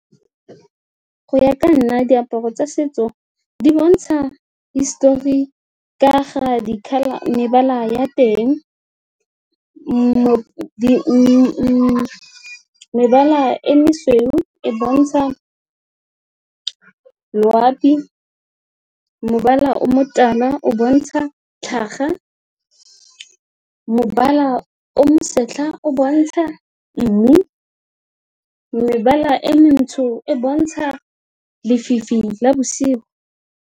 Go ya ka nna, diaparo tsa setso di bontsha hisitori ka ga mebala ya teng mo le mebala e mosweu e bontsha loapi, mebala o motala o bontsha tlhaga, mebala o mo bosetlha o bontsha mmidi, mebala e montsho e bontsha lefifi la bosigo.